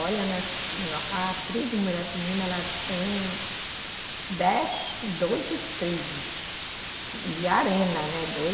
Olha, nós, na, a tribo Muirapinima, ela tem dez, doze tribos de arena, né? Doze